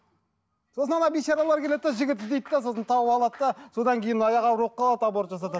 сосын ана бейшаралар келеді де жігіт іздейді де сосын тауып алады да содан кейін аяғы ауыр болып қалады аборт жасатады